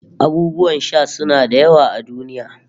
Abubuwan sha suna da yawa a duniya